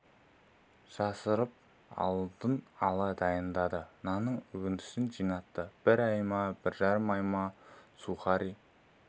жасырып алдын ала дайындады нанның үгіндісін жинатты бір ай ма бір жарым ай ма сухари